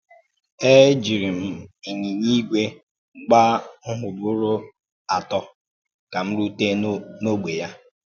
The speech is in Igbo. É um jìrì m um ínyìnyà ígwè gbàá ǹhụ́bụ́rù atọ̀ um ka m rùtè n’ógbè ya.